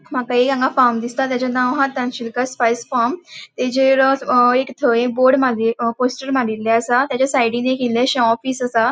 माका एक फार्म दिसता तचे नाव आहा तनशीलकर स्पायस फर्म तेजेर अ एक थंय बोर्ड मारी पोस्टर मारिले असा तचा साइडीन एक ईल्लेशे ऑफिस असा.